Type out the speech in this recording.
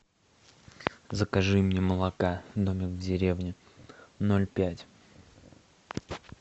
закажи мне молока домик в деревне ноль пять